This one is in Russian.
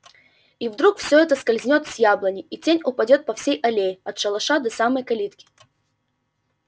и вдруг всё это скользнёт с яблони и тень упадёт по всей аллее от шалаша до самой калитки